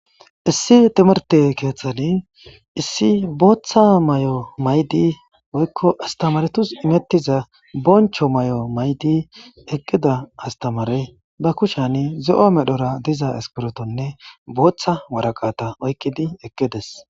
issi temerte kieththani issi booththa mayo maydi woykko astamaretus imettiza boncho mayo maydi eqqida astamare ba kushan zo'o medhora diza eskbirotonne booththa waraqata oykqidi eqqides